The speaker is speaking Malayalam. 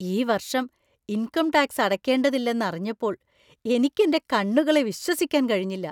ഈ വർഷം ഇൻകം ടാക്സ് അടയ്ക്കേണ്ടതില്ലെന്ന് അറിഞ്ഞപ്പോൾ എനിക്ക് എന്‍റെ കണ്ണുകളെ വിശ്വസിക്കാൻ കഴിഞ്ഞില്ല!